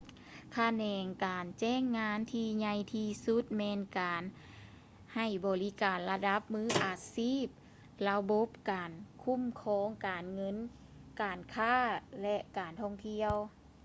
ຂະແໜງການຈ້າງງານທີ່ໃຫຍ່ທີ່ສຸດແມ່ນການໃຫ້ບໍລິການລະດັບມືອາຊີບ ລະບົບການຄູ້ມຄອງ ການເງິນ ການຄ້າ ແລະ ການທ່ອງທ່ຽວ